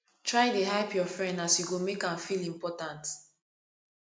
try dey hype yur friend as you go mek am feel important